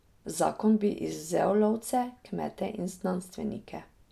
Zakon bi izvzel lovce, kmete in znanstvenike.